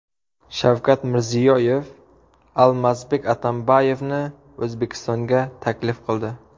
Shavkat Mirziyoyev Almazbek Atamboyevni O‘zbekistonga taklif qildi.